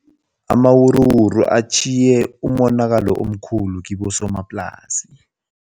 Amawuruwuru atjhiye umonakalo omkhulu kibosomaplasi.